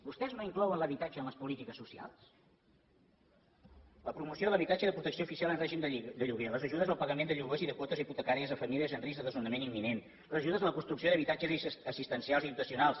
vostès no inclouen l’habitatge en les polítiques socials la promoció de l’habitatge de protecció oficial en règim de lloguer les ajudes al pagament de lloguers i de quotes hipotecàries a famílies amb risc de desnonament imminent les ajudes a la construcció d’habitatges assistencials i dotacionals